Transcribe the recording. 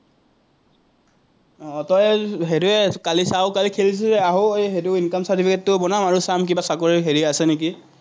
আহ তই হেৰি কালি সেটো income certificate টো বনাওঁ আৰু চাম কিবা চাকৰি হেৰি আছে নেকি।